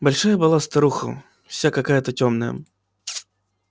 большая была старуха вся какая-то тёмная